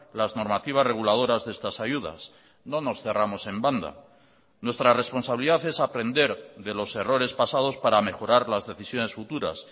las normativas reguladoras de estas ayudas no nos cerramos en banda nuestra responsabilidad es aprender de los errores pasados para mejorar las decisiones futuras